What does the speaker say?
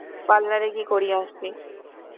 parlour এ গিয়ে করিয়ে আসবি.